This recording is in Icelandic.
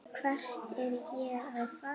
Hvert var ég að fara?